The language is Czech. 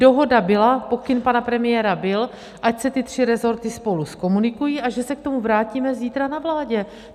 Dohoda byla, pokyn pana premiéra byl, ať se ty tři rezorty spolu zkomunikují a že se k tomu vrátíme zítra na vládě.